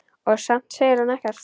Og samt segir hún ekkert.